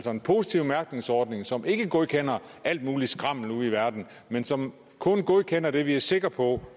en positiv mærkningsordning som ikke godkender alt muligt skrammel ude i verden men som kun godkender det vi er sikre på